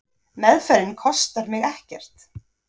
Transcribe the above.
Meðferðin kostar mig ekkert.